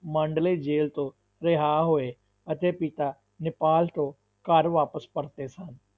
Mandalay ਜੇਲ੍ਹ ਤੋਂ ਰਿਹਾ ਹੋਏ ਅਤੇ ਪਿਤਾ ਨੇਪਾਲ ਤੋਂ ਘਰ ਵਾਪਸ ਪਰਤੇ ਸਨ।